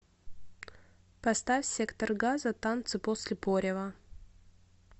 поставь сектор газа танцы после порева